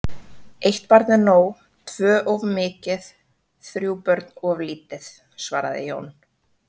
Eitt barn er nóg, tvö of mikið, þrjú börn of lítið, svaraði Jón.